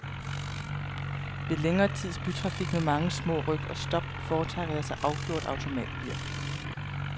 Ved længere tids bytrafik med mange små ryk og stop foretrækker jeg så afgjort automatgear.